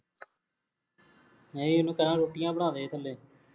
ਨਹੀਂ ਇਹਨੂੰ ਕਹਿ ਰੋਟੀਆਂ ਬਣਾਵੇ ਥੱਲੇ